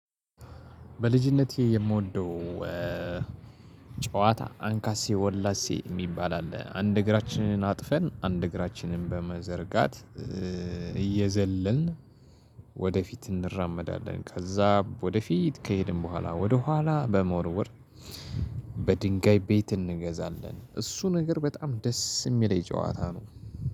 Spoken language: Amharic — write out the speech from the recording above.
በልጅነቴ የምወደው ጨዋታ አንካሴ ወላሴ የሚባል አለ። አንድ እግራችንን አጥፈን አንድ እግራችንን በመዘርጋት እየዘለልን እንራመዳለን። ከዛ ወደፊት ከሄድን በኋላ ወደኋላ በመወርወር በድንጋይ ቤት እንገዛለን። እሱ ነገር በጣም ደስ የሚለኝ ጨዋታ ነው።